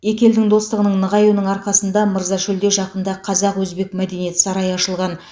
екі елдің достығының нығаюының арқасында мырзашөлде жақында қазақ өзбек мәдениет сарайы ашылған